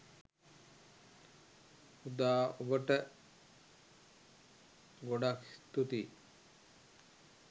උදා ඔබට ගොඩක් ස්තුතියි